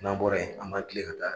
N'an bɔra yen an b'an tile ka taa